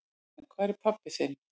En hvar er pabbi þinn?